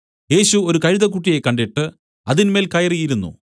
യേശു ഒരു കഴുതക്കുട്ടിയെ കണ്ടിട്ട് അതിന്മേൽ കയറി ഇരുന്നു